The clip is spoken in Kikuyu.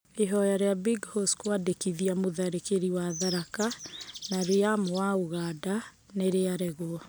Ihoya rĩa Big Haws kũawandĩkithia mũtharĩkĩri wa Tharaka na Liam wa Ũganda nĩ rĩa regwo.